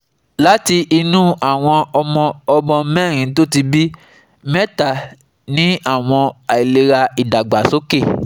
Láti inú àwọn ọmọ ọmọ mérin tó ti bí, mẹ́ta ní àwọn àìlera idagbasoke